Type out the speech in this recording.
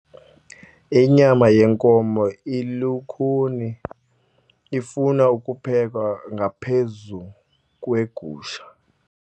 Inyama yenkomo ilukhuni ifuna ukuphekwa ngaphezu kwegusha.